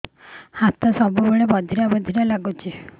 ହାତ ସବୁବେଳେ ବଧିରା ବଧିରା ଲାଗୁଚି